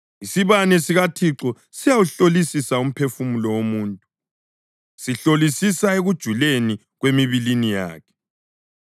Isibane sikaThixo siyawuhlolisisa umphefumulo womuntu; sihlolisisa ekujuleni kwemibilini yakhe.